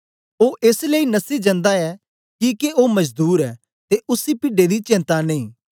ओ एस लेई नसी जंदा ऐ किके ओ मजदूर ऐ ते उसी पिड्डें दी चेंता नेई